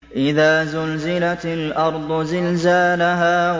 إِذَا زُلْزِلَتِ الْأَرْضُ زِلْزَالَهَا